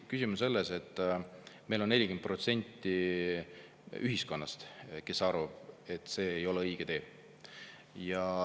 Küsimus on selles, et 40% ühiskonnast arvab, et see ei ole õige tee.